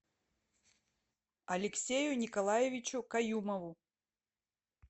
алексею николаевичу каюмову